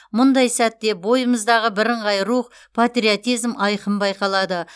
мұндай сәтте бойымыздағы бірыңғай рух патриотизм айқын байқалады